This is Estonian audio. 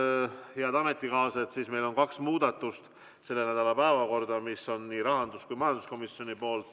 Nüüd, head ametikaaslased, meil on selle nädala päevakorda kaks muudatust, need on rahandus‑ ja majanduskomisjoni poolt.